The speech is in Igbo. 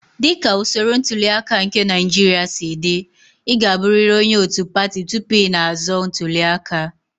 Dị ka usoro ntuli aka nke Naijiria si dị, ị ga-abụrịrị onye òtù pati tupu ị na-azọ ntuli aka.